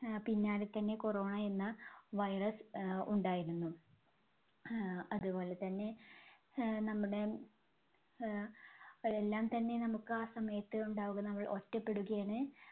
ആഹ് പിന്നാലെ തന്നെ corona എന്ന virus ആഹ് ഉണ്ടായിരുന്നു. ആഹ് അതുപോലെതന്നെ ആഹ് നമ്മുടെ അഹ് എല്ലാംതന്നെ നമുക്ക് ആ സമയത്ത് ഉണ്ടാവുക നമ്മൾ ഒറ്റപ്പെടുകയാണ്